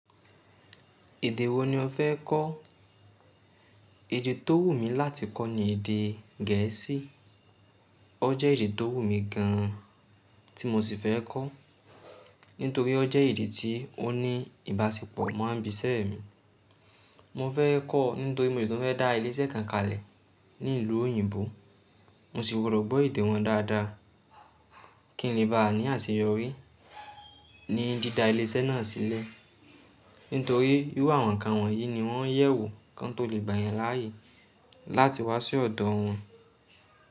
Èdè wo ni o fẹ́ kọ́? Èdè tó wù mí láti kọ́ ni èdè gẹ̀ẹ́sì. O jẹ́ èdè tó wù mí gan an tí mo sì fẹ́ kọ́, nítorí o jẹ́ èdè tí ó ní ìbáṣepọ̀ mọ́ n bíṣẹ́ mi. Mo fẹ́ kọ́ nítorí mo si tun fẹ dá ilé iṣẹ́ kan kalẹ̀ ní ìlú òyìnbó. Mo sì gbọ́dọ̀ gbọ èdè wọn dáadáa kí ń le ba à ní àṣeyọrí ní dídá ilé iṣẹ́ náà sílẹ̀. Nítorí irú àwọn nǹkan wọ́nyí ni wọ́n yẹ̀wò kọ́n tó lè gbà yan láàyè láti wá sí ọ̀dọ̀ wọn.